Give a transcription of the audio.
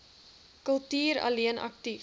kultuur alleen aktief